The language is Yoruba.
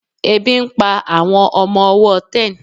ebi n pa àwọn ọmọ ọwọ ten